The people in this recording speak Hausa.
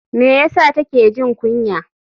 Me ya sa take jin kunya?